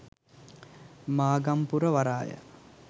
මාගම්පුර වරාය